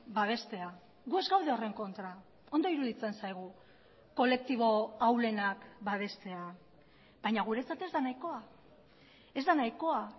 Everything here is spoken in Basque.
babestea gu ez gaude horren kontra ondo iruditzen zaigu kolektibo ahulenak babestea baina guretzat ez da nahikoa ez da nahikoa